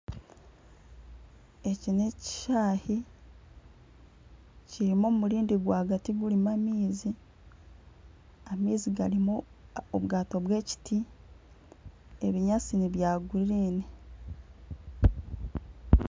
Eki n'ekishaayi kirimu omurindi rwagati gurimu amaizi Amaizi garimu obwato bw'ekiti, ebinyaatsi n'ebya kinyaatsi